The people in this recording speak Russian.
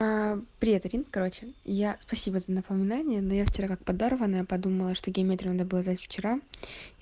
привет ирин короче я спасибо за напоминание но я вчера как подорванная я подумала что геометрию надо было сдать вчера